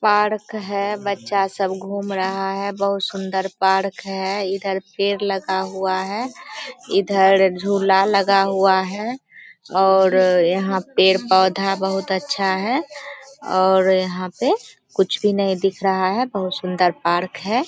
Park है बच्चा सब घूम रहा है बहुत सुन्दर पार्क है| इधर भीड़ लगा हुआ है इधर झूला लगा हुआ है और यहाँ पेड़-पौधा बहुत अच्छा है और यहाँ पे कुछ भी नहीं दिख रहा है बहुत सुंदर पार्क है।